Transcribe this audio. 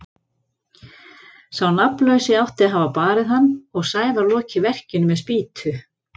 Sá nafnlausi átti að hafa barið hann og Sævar lokið verkinu með spýtu.